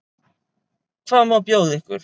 Hvað má bjóða ykkur?